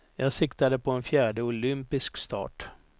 Jag siktade på en fjärde olympisk start.